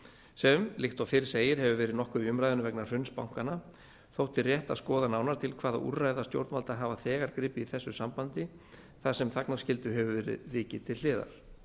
sem líkt og fyrr segir hefur verið nokkuð í umræðunni vegna hruns bankanna þótti rétt að skoða nánar til hvaða úrræða stjórnvöld hafa þegar gripið í þessu sambandi þar sem þagnarskyldu hefur verið vikið til hliðar